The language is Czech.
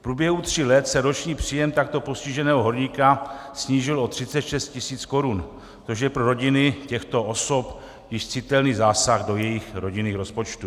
V průběhu tří let se roční příjem takto postiženého horníka snížil o 36 tisíc korun, což je pro rodiny těchto osob již citelný zásah do jejich rodinných rozpočtů.